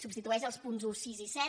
substitueix els punts un sis i set